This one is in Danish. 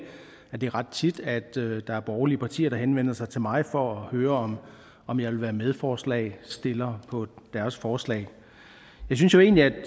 det er ret tit at der er borgerlige partier der henvender sig til mig for at høre om jeg vil være medforslagsstiller på deres forslag jeg synes egentlig